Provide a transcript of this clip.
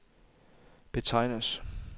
betegnes